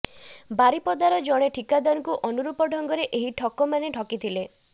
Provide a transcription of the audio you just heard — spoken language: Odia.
ବାରିପଦାର ଜଣେ ଠିକାଦାରଙ୍କୁ ଅନୁରୂପ ଢଙ୍ଗରେ ଏହି ଠକମାନେ ଠକିଥିଲେ